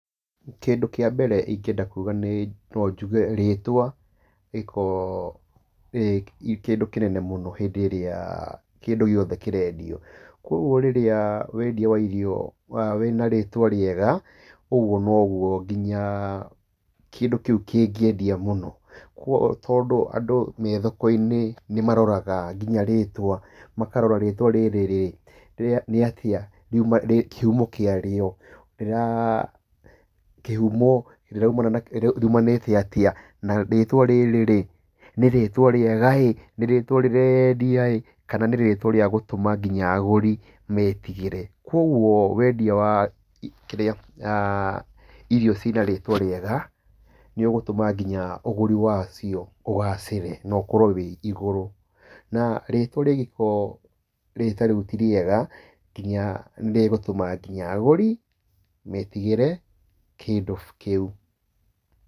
Kĩndũ kia mbere ingĩenda kuga nĩ, no njuge rĩtwa, rĩ kowo rĩ kĩndũ kĩnene mũno hĩndĩ ĩrĩa kĩndũ o gĩothe kĩrendio. Koguo rĩrĩa wendia wa irio wĩ na rĩtwa rĩega, ũguo noguo, nginya kĩndũ kĩu kĩngĩendia mũno. Koguo tondũ andũ me thoko-inĩ nĩ maroraga rĩtwa mũno, makarora rĩtwa rĩrĩ, nĩ atĩa, makarora, kĩhumo kĩario, kĩhumo, riumanĩte atĩa? Na rĩtwa rĩrĩ, nĩ rĩtwa rĩega ĩ, nĩ rĩtwa rĩreyendiaĩ, kana nĩ rĩtwa rĩa gũtũma nginya agũri metigĩre? Koguo wendia wa ĩrĩa, irio ci na rĩtwa rĩega, nĩ ũgũtũma nginya ũgũri wacio ũgacĩre na ũkorwo wĩ igũrũ. Na rĩtwa rĩ ngĩkoruo atĩ ti rĩega, nginya nĩ rĩgũtũma nginya agũri metigĩre kĩndũ kĩu.